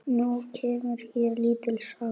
Nú kemur hér lítil saga.